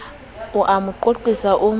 o a mo qoqisa o